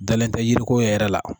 Dalen tɛ yiriko yɛrɛ la